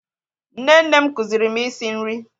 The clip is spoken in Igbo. Nne nne m kụziiri m isi nri